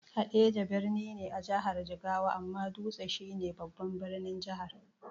Haɗeja birni ne a jihar Jigawa, amma Dutse shi ne babban birnin Jihar.